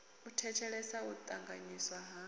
u thetshelesa u ṱanganyisa na